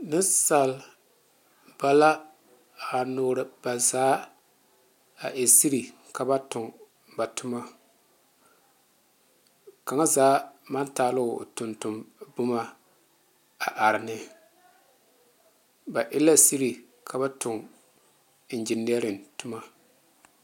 Nensaalba la a nure ba zaa a e sire ka ba tuŋ ba tuma kaŋa zaa maŋ taa ba tɔge tɔge boma a are ne ba e la sire ka ba tuŋ enginere tuma.